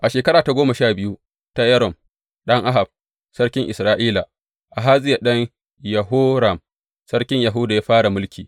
A shekara ta goma sha biyu ta Yoram ɗan Ahab, sarkin Isra’ila, Ahaziya ɗan Yehoram, sarkin Yahuda ya fara mulki.